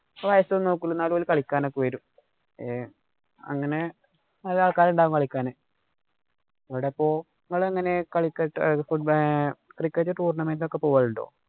ഇപ്പൊ വയസ്സോന്നും നോക്കൂല. അവര് കളിക്കാനൊക്കെ വരും. ഏർ അങ്ങനെ നല്ല ആള്‍ക്കാരുണ്ടാകും കളിക്കാന്. ഇവിടിപ്പോ നിങ്ങള് എങ്ങനെ കളിക്ക~ cricket tournament ഇന് ഒക്കെ പോവാറുണ്ടോ?